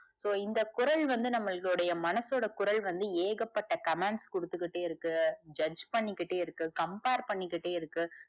so இந்த குரல் வந்து நம்மலுடைய மனசோட குரல் வந்து ஏகப்பட்ட commands குடுத்துகிட்டே இருக்கு judge பண்ணிகிட்டே இருக்கு compare பண்ணிகிட்டே இருக்கு.